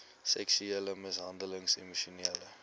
seksuele mishandeling emosionele